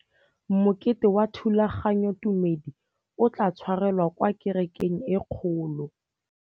Mokete wa thulaganyôtumêdi o tla tshwarelwa kwa kerekeng e kgolo.